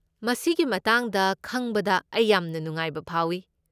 ꯃꯁꯤꯒꯤ ꯃꯇꯥꯡꯗ ꯈꯪꯕꯗ ꯑꯩ ꯌꯥꯝꯅ ꯅꯨꯡꯉꯥꯏꯕ ꯐꯥꯎꯏ꯫